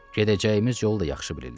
Gedəcəyimiz yolu da yaxşı bilirlər.